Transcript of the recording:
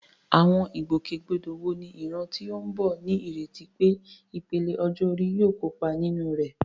Àwọn ìgbòkègbodò wo ni ìran tó ń bọ̀ ní ìrètí pé ìpele ọjọ́ orí yóò kópa nínú rẹ̀?